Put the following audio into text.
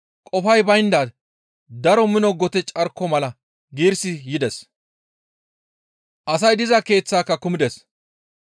qofay baynda daro mino gote carko mala giirissi yides; asay diza keeththaaka kumides.